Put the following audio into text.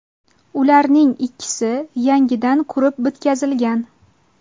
Ularning ikkisi yangidan qurib bitkazilgan.